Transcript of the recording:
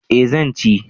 Eh zan ci